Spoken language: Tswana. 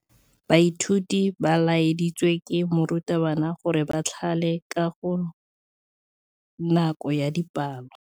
Baithuti ba laeditswe ke morutabana gore ba thale kagô ka nako ya dipalô.